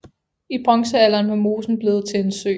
I bronzealderen var mosen blevet til en sø